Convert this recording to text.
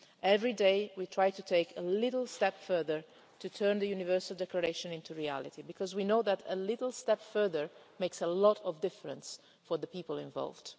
Every day we try to take a little step further to turn the Universal Declaration into reality because we know that a little step further makes a lot of difference for the people involved.